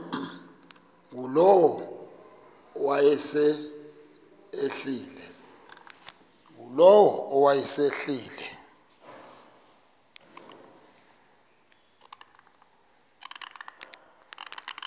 ngulowo wayesel ehleli